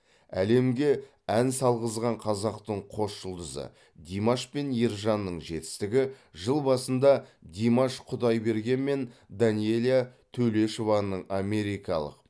әлемге ән салғызған қазақтың қос жұлдызы димаш пен ержанның жетістігі жыл басында димаш құдайберген мен данэлия төлешованың америкалық